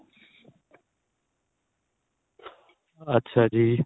ਅੱਛਾ ਜੀ